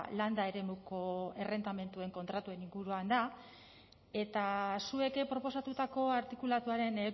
landa eremuko errentamenduen kontratuen inguruan da eta zuek proposatutako artikulatuaren